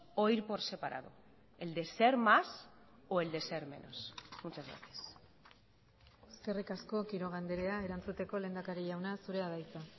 o ir por separado el de ser más o el de ser menos muchas gracias eskerrik asko quiroga andrea erantzuteko lehendakari jauna zurea da hitza